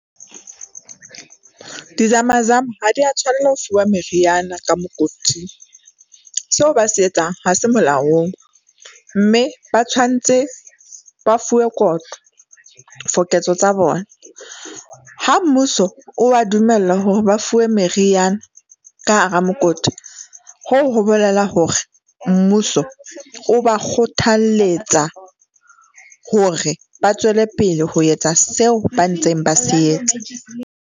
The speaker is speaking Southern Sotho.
Dizama zama ha di a tshwanela ho fuwa meriana ka mokoting. Seo ba se etsang ha se molaong mme ba tshwantse ba fuwe kotlo for ketso tsa bona. Ha mmuso o ba dumella hore ba fuwe meriana ka hara mokoti, hoo ho bolela hore mmuso o ba kgothaletsa, hore ba tswele pele ho etsa seo ba ntseng ba se etsa.